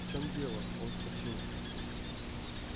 в чем дело он вскочил